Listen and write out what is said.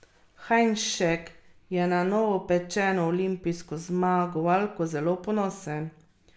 Hajnšek je na novopečeno olimpijsko zmagovalko zelo ponosen.